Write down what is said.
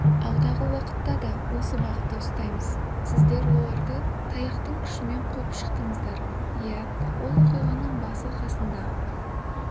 алдағы уақытта да осы бағытты ұстаймыз сіздер оларды таяқтың күшімен қуып шықтыңыздар иә ол оқиғаның басы-қасында